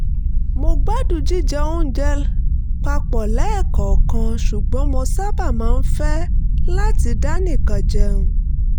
mo gbádùn jíjẹ oúnjẹ papọ̀ lẹ́ẹ̀kọ̀ọ̀kan ṣùgbọ́n mo sábà máa ń fẹ́ láti dánìkan jẹun